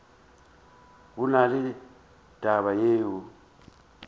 go na le taba yeo